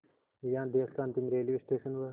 यहाँ देश का अंतिम रेलवे स्टेशन व